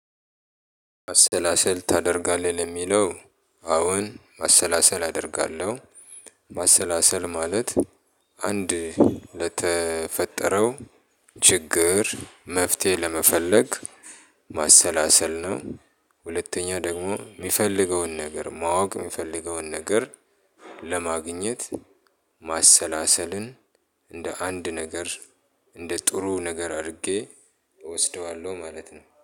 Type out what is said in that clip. ማሰላሰል ታደርጋለህ ለሚለው አዎን ማሰላሰል አደርጋለሁ። ማሰላሰል ማለት አንድ ለተፈጠረው ችግር መፍትሄ ለመፈለግ ማሰላሰል ነው። ሁለተኛ ደግሞ እሚፈልገውን ነገር ማወቅ እሚፈልገውን ነገር ለማግኘት ማሰላሰልን እንደ አንድ ነገር እንደ ጥሩ ነገር አርጌ እወስደዋለሁ ማለት ነው